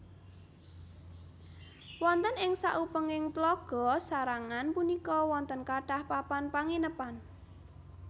Wonten ing sakupenging Tlaga sarangan punika wonten kathah papan panginepan